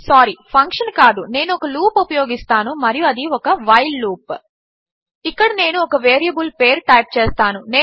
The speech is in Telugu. సారి ఫంక్షన్ కాదు నేను ఒక లూప్ ఉపయోగిస్తాను మరియు అది ఒక వైల్ లూప్ ఇక్కడ నేను ఒక వేరియబుల్ పేరు టైప్ చేస్తాను